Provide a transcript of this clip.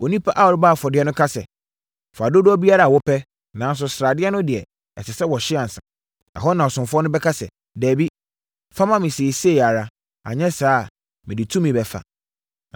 Onipa a ɔrebɔ afɔdeɛ no ka sɛ, “Fa dodoɔ biara a wopɛ, nanso sradeɛ no deɛ, ɛsɛ sɛ wɔhye ansa.” Ɛhɔ na ɔsomfoɔ no bɛka sɛ, “Dabi, fa ma me seesei ara, anyɛ saa a, mede tumi bɛfa.”